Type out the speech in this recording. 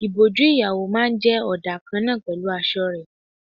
Ìbòjú ìyàwó máa ń jẹ ọdà kan náà pẹ̀lú aṣọ rẹ.